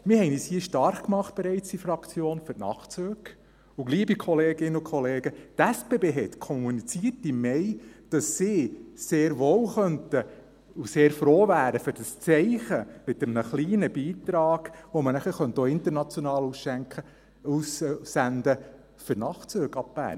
Wir haben uns hier in der Fraktion bereits für die Nachtzüge stark gemacht, und, liebe Kolleginnen und Kollegen, die SBB hat im Mai kommuniziert, dass sie sehr wohl könnten und sehr wohl froh wären für das Zeichen, das man auch international setzen könnte, mit einem kleinen Beitrag für Nachtzüge ab Bern.